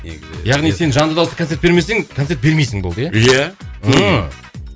негізі яғни сен жанды дауыста концерт бермесең концерт бермейсің болды иә иә ммм